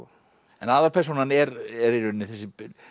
en aðalpersónan er er í rauninni þessi